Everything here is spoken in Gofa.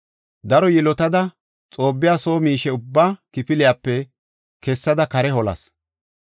Daro yilotada, Xoobbiya soo miishe ubbaa kifiliyape kessada kare holas.